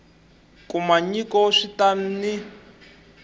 kuma nyiko swi ta n